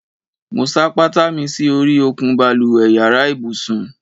Mo ṣáá pátá mi si ori òkun balùwẹ́ yàrá ibùsùn